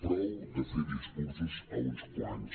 prou de fer discursos a uns quants